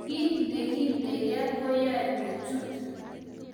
Kiek ne kindeger koyae kuchot